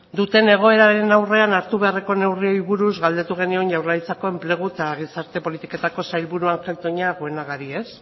duten egoeraren aurrean hartu beharreko neurriei buruz galdetu genion jaurlaritzak enplegu eta gizarte politiketako sailburua den ángel toña guenagari